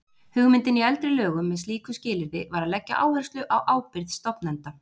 Hugmyndin í eldri lögum með slíku skilyrði var að leggja áherslu á ábyrgð stofnenda.